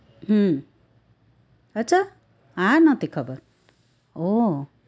હમ અચ્છા આ નોતી ખબર ઓહ્હ